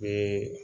Ee